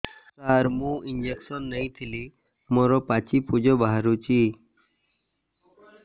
ସାର ମୁଁ ଇଂଜେକସନ ନେଇଥିଲି ମୋରୋ ପାଚି ପୂଜ ବାହାରୁଚି